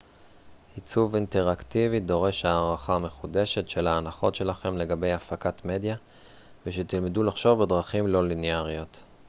עיצוב אינטראקטיבי דורש הערכה מחודשת של ההנחות שלכם לגבי הפקת מדיה ושתלמדו לחשוב בדרכים לא ליניאריות